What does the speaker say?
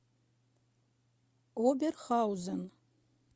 оберхаузен